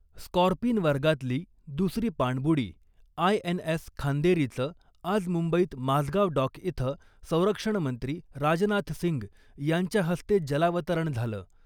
Scorpene वर्गातली दुसरी पाणबुडी आय एन एस खांदेरीचं आज मुंबईत माझगाव डॉक इथं संरक्षणमंत्री राजनाथ सिंग यांच्या हस्ते जलावतरण झालं .